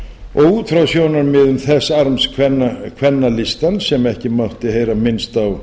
og út frá sjónarmiðum þess arms kvennalistans sem ekki mátti heyra minnast á